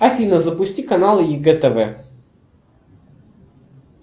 афина запусти канал егэ тв